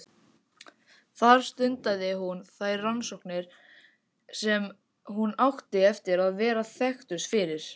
Þar stundaði hún þær rannsóknir sem hún átti eftir að vera þekktust fyrir.